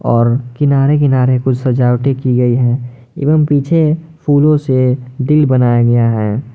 और किनारे किनारे कुछ सजावटें की गयी हैं एवं पीछे फूलों से दिल बनाया गया है।